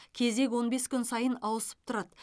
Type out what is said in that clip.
кезек он бес күн сайын ауысып тұрады